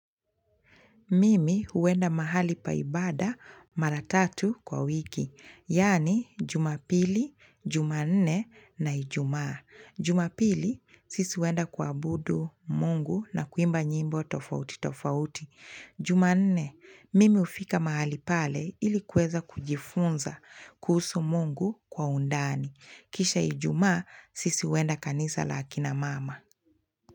Mimi huenda mahali pa ibada mara tatu kwa wiki. Yaani jumapili, jumanne na ijumaa. Jumapili, sisi huenda kuabudu Mungu na kuimba nyimbo tofauti tofauti. Jumanne, mimi hufika mahali pale ilikuweza kujifunza kuhusu Mungu kwa undani. Kisha ijumaa, sisi huenda kanisa la kina mama.